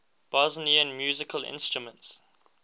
bosnian musical instruments